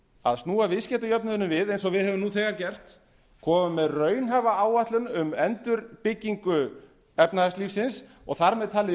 að snúa viðskiptajöfnuðinum við eins og við höfum nú þegar gert komið með raunhæfa áætlun um endurbyggingu efnahagslífsins og þar með talið í